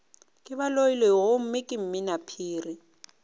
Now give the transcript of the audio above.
ke baloiloi gomme ke mminaphiri